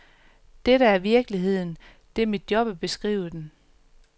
Dette er virkeligheden, det er mit job at beskrive den.